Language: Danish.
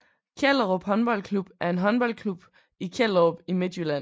Kjellerup Håndboldklub er en håndboldklub i Kjellerup i Midtjylland